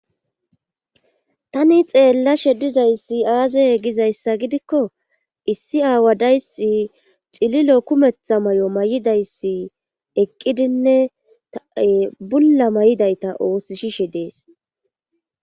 Tani xeelashe dizayssi aazee gizayssa gidikko issi aawa dayssi cililo kumetha mayo mayidayssi eqqidinne bulla mayidayti ootisishe dees.